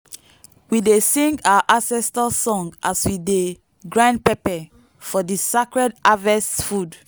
we dey sing our ancestor song as we dey grind pepper for di sacred harvest food.